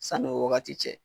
San'o wagati cɛ.